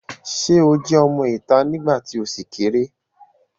Sé o jẹ́ ọmọ ìta nígbà tí o ṣì kéré?